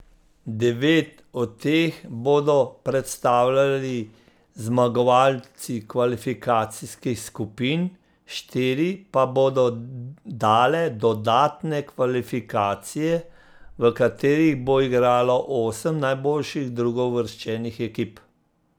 Devet od teh bodo predstavljali zmagovalci kvalifikacijskih skupin, štiri pa bodo dale dodatne kvalifikacije, v katerih bo igralo osem najboljših drugouvrščenih ekip.